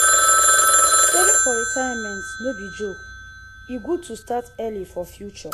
saving for retirement no be joke e good to start early for future.